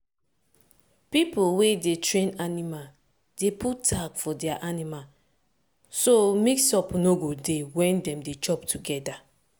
pipo wey dey train animal dey put tag for their animal so mix-up no go dey when dem dey chop together